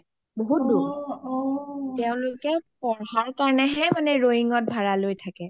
বহুত দুৰ অ অ তেওঁলোকে পঢ়া কাৰণে হে ৰোয়িংত ভাৰা লৈ থাকে